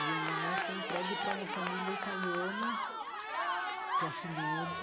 E a minha mãe foi entregue para uma família italiana, classe média,